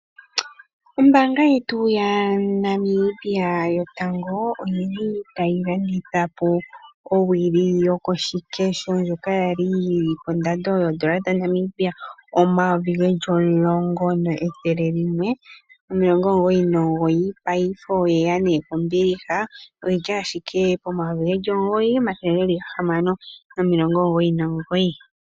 Ombaanga yetu yaNamibia yotango oyili tayilanditha po owili yokoshikesho ndjoka yali yili kondando yoondola dhaNamibia omayovi geli omulongo ethele limwe nomilongo omugoyi nomugoyi, paife oyeya nekombiliha oyili ashike pomayovi geli omugoyi omathele geli gahamano nomilongo omugoyi nomugoyi.